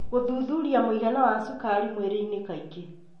Gũthuthuria mũigana wa cukari mwĩrĩinĩ kaingĩ,